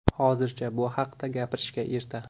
Hozircha bu haqida gapirishga erta.